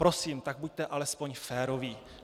Prosím, tak buďte alespoň féroví.